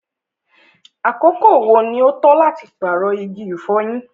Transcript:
àkókò wo ní o tọ́ láti paarọ igi ifọ̀yín?